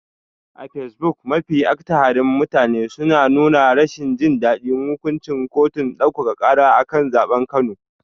A fesbuk, mafi akatharin mutane sun nuna rashin jin daɗin hukuncin kotun ɗaukaka ƙara a kan zaɓen Kano.